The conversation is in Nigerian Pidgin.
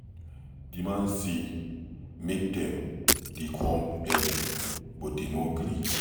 The man say make dem dey come early but dey no gree.